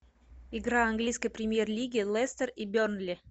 игра английской премьер лиги лестер и бернли